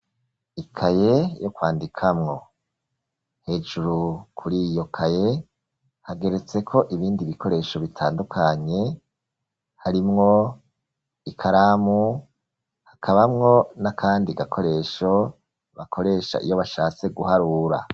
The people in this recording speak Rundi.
Ikaye yo kwandikamwo, hejuru kuriyo kaye hageretseko ibindi bikoresho bitandukanye harimwo ikaramu, hakabamwo n'akandi gakoresho bakoresha iyo bashatse guharura.